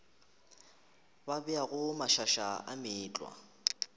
ba beago mašaša a meetlwa